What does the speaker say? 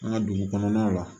An ka dugu kɔnɔna la